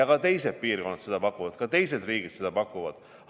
Ka teised piirkonnad pakuvad seda, ka teised riigid pakuvad seda.